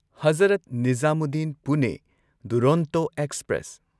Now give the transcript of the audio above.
Hazrat Nizamuddin Pune Duronto express